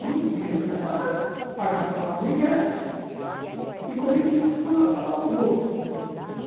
O único dinheiro que gastava era pagar o ingresso e comer pizza quando acabava o jogo.